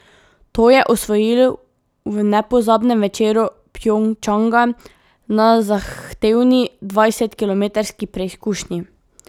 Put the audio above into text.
To je osvojil v nepozabnem večeru Pjongčanga na zahtevni dvajsetkilometrski preizkušnji.